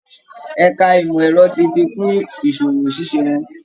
Ẹ̀ka ìmọ̀ ẹ̀rọ ti fi kún ìsọwọ́ ṣiṣẹ́ wọn